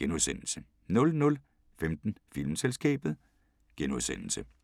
* 00:15: Filmselskabet *